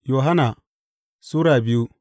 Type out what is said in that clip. Yohanna Sura biyu